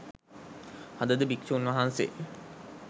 අදද භික්ෂූන් වහන්සේ